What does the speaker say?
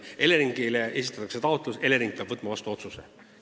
Eleringile esitatakse taotlus ja Elering peab võtma vastu otsuse.